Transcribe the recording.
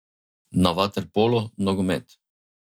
Na vaterpolo, nogomet.